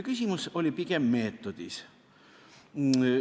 Küsimus oli pigem meetodis.